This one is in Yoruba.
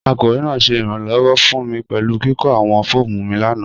Akọwe naa ṣẹ iranlọwọ fun mi pẹlu kiko awọn fọọmu mi lana.